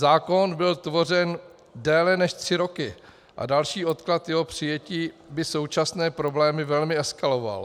Zákon byl tvořen déle než tři roky a další odklad jeho přijetí by současné problémy velmi eskaloval.